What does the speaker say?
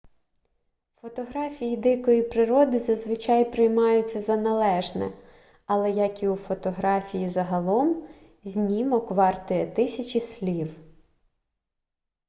фотографії дикої природи зазвичай приймаються за належне але як і у фотографії загалом знімок вартує тисячі слів